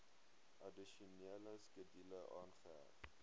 addisionele skedule aangeheg